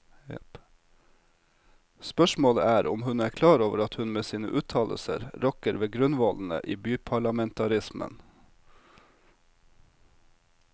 Spørsmålet er om hun er klar over at hun med sine uttalelser rokker ved grunnvollene i byparlamentarismen.